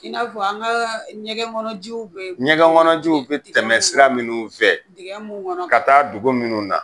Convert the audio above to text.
I n'a fɔ an ka ɲɛgɛn kɔnɔ jiw bɛ, ɲɛgɛn kɔnɔ jiw bɛ tɛmɛ sira minnu fɛ ka taa dugu minnu na.